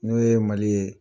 N'o ye Mali ye.